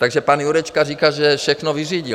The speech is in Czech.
Takže pan Jurečka říká, že všechno vyřídil.